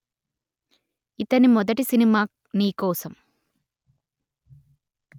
ఇతని మొదటి సినిమా నీ కోసం